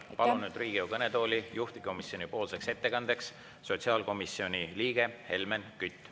Ma palun juhtivkomisjoni ettekandeks Riigikogu kõnetooli sotsiaalkomisjoni liikme Helmen Küti.